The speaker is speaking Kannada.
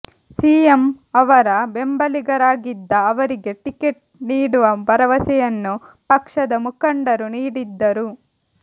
ಸಿಎಂ ಅವರ ಬೆಂಬಲಿಗರಾಗಿದ್ದ ಅವರಿಗೆ ಟಿಕೆಟ್ ನೀಡುವ ಭರವಸೆಯನ್ನು ಪಕ್ಷದ ಮುಖಂಡರು ನೀಡಿದ್ದರು